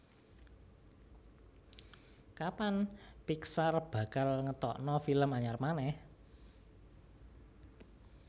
Kapan Pixar bakal ngetokno film anyar maneh?